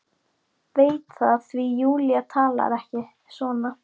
Veit það því Júlía talar ekki svona.